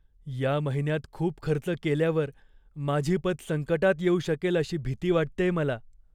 या महिन्यात खूप खर्च केल्यावर माझी पत संकटात येऊ शकेल अशी भीती वाटतेय मला.